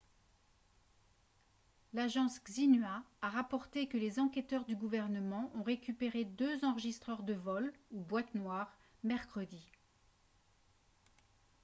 l'agence xinhua a rapporté que les enquêteurs du gouvernement ont récupéré deux enregistreurs de vol ou « boîtes noires » mercredi